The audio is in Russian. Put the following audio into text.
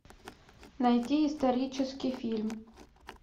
найти исторический фильм